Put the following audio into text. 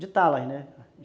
de talas, né?